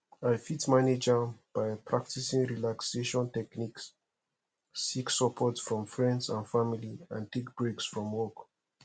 i fit manage am by practicing relaxation techniques seek support from friends and family and take breaks from work